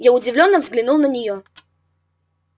я удивлённо взглянул на неё